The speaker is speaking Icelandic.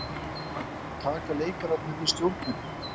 Taka leikararnir við stjórninni?